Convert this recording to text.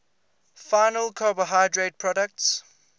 final carbohydrate products